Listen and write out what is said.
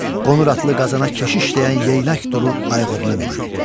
Qonuratlı Qazana keşiş deyən Yeynək duru ayğırına mindi.